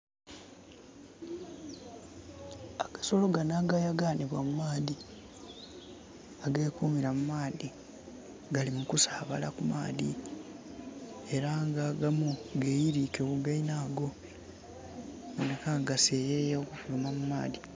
Agasolo ganho agayaganhibwa mu maadhi age kumira mu maadhi gali mu kusabala ku maadhi era nga agamu geyirike ku geinhago okuboneka nga gaseyeya okufuluma mu maadhi.